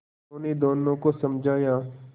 उन्होंने दोनों को समझाया